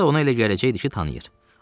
Ya da ona elə gələcəkdi ki, tanıyır.